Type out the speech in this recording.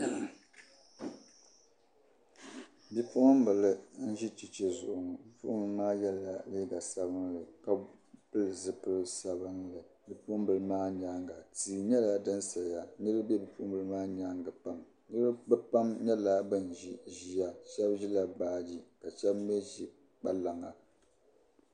Bipuɣin bili n ʒi cheche zuɣu ŋɔ, bi puɣin bili maa. yela liiga sabinli. ka pili zi pili sabinli , bipuɣin bili maa nyaaŋa tii nyɛla din saya, niribi be bipuɣin bili maa nyaaŋa pam, bɛ pam nyala ban ʒi ʒiya shabi ʒila baaji kashabi mi ʒi kpalaŋa